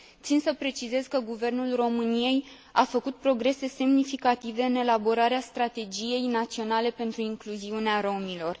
Țin să precizez că Guvernul României a făcut progrese semnificative în elaborarea strategiei naționale pentru incluziunea romilor.